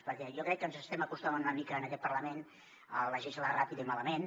perquè jo crec que ens estem acostumant una mica en aquest parlament a legislar ràpid i malament